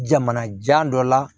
Jamanajan dɔ la